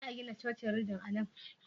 Za a gina cocin ridim a nan?